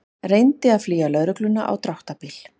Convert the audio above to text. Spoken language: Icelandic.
Reyndi að flýja lögregluna á dráttarbíl